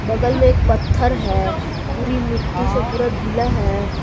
बगल में एक पत्थर है पूरी मिट्टी से पूरा गिला है।